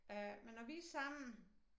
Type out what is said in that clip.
Øh men når vi sammen